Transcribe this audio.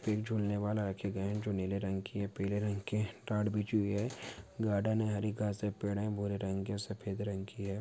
तीन झूलने वाला रखे गए है जो नीले रंग की है पीले रंग की टाट बिछी हुई है गार्डन है हरी घास है पेड़ है भूरे रंग के सफ़ेद रंग की है।